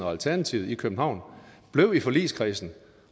og alternativet i københavn var blevet i forligskredsen